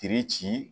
Kiri ci